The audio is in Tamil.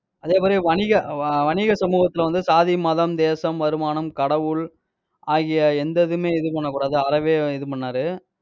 அதே மாதிரி வணிக, வ~ வணிக சமூகத்துல வந்து சாதி, மதம், தேசம், வருமானம், கடவுள், ஆகிய எந்த இதுவுமே இது பண்ணக் கூடாது. அறவே இது பண்ணாரு.